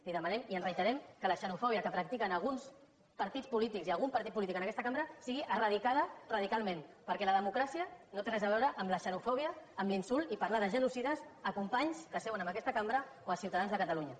li demanem i ens reiterem que la xenofòbia que prac·tiquen alguns partits polítics i algun partit polític en aquesta cambra sigui eradicada radicalment perquè la democràcia no té res a veure amb la xenofòbia amb l’insult i parlar de genocides a companys que seuen en aquesta cambra o a ciutadans de catalunya